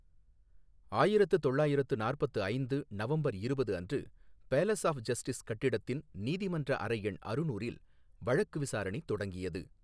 ஆயிரத்து தொள்ளாயிரத்து நாற்பத்து ஐந்து நவம்பர் இருபது அன்று பேலஸ் ஆஃப் ஜஸ்டிஸ் கட்டிடத்தின் நீதிமன்ற அறை எண் அறுநூறில் வழக்கு விசாரணை தொடங்கியது.